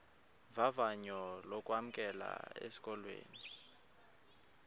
vavanyo lokwamkelwa esikolweni